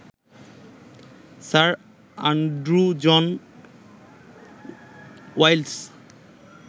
sir Andrew John ওয়াইলস